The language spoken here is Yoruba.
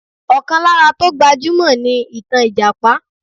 Ọkàn lára tó gbajúmọ̀ ni ìtàn Ìjàpá